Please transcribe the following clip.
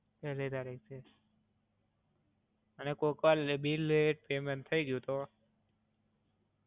પેલ્લી તારીખ છે? અને કોક વાર બિલ પેમેન્ટ લેટ થય ગયું તો?